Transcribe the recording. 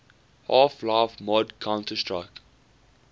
half life mod counter strike